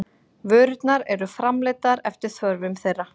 Vörurnar eru framleiddar eftir þörfum þeirra.